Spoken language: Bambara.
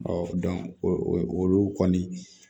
olu kɔni